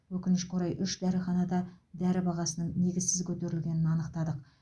өкінішке орай үш дәріханада дәрі бағасының негізсіз көтерілгенін анықтадық